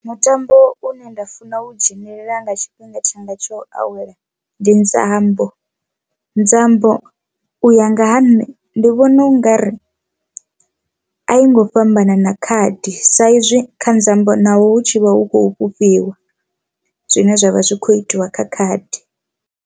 Mutambo une nda funa u dzhenelela nga tshifhinga tshanga tsho awela ndi nzambo, nzambo u ya nga ha nṋe ndi vhona u ngari a i ngo fhambanana khadi sa izwi kha nzambo naho hu tshi vha hu khou fhufhiwa zwine zwavha zwi kho itiwa kha khadi.